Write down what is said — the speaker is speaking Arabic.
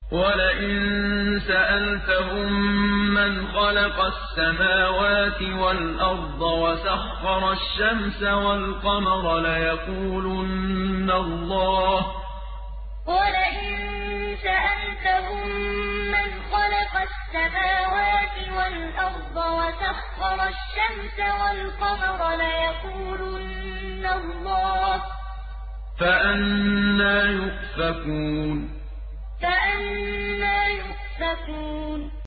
وَلَئِن سَأَلْتَهُم مَّنْ خَلَقَ السَّمَاوَاتِ وَالْأَرْضَ وَسَخَّرَ الشَّمْسَ وَالْقَمَرَ لَيَقُولُنَّ اللَّهُ ۖ فَأَنَّىٰ يُؤْفَكُونَ وَلَئِن سَأَلْتَهُم مَّنْ خَلَقَ السَّمَاوَاتِ وَالْأَرْضَ وَسَخَّرَ الشَّمْسَ وَالْقَمَرَ لَيَقُولُنَّ اللَّهُ ۖ فَأَنَّىٰ يُؤْفَكُونَ